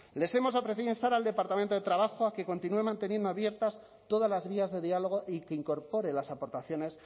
les hemos ofrecido instar al departamento de trabajo a que continúen manteniendo abiertas todas las vías de diálogo y que incorpore las aportaciones